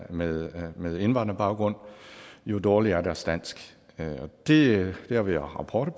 med mange med indvandrerbaggrund jo dårligere er deres dansk det har vi rapporter